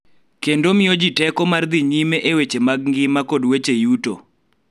Kendo miyo ji teko mar dhi nyime e weche mag ngima kod weche yuto.